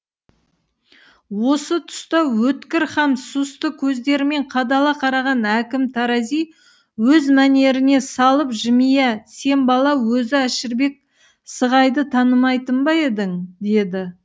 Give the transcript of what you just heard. осы тұста өткір һәм сұсты көздерімен қадала қараған әкім тарази өз мәнеріне салып жымия сен бала өзі әшірбек сығайды танымайтын ба едің деді